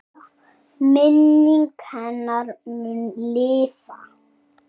Minning hennar mun lifa.